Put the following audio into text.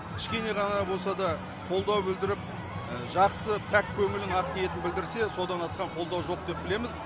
кішкене ғана болса да қолдау білдіріп жақсы пәк көңілін ақ ниетін білдірсе содан асқан қолдау жоқ деп білеміз